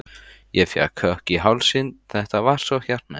Ég fékk kökk í hálsinn, þetta var svo hjartnæmt.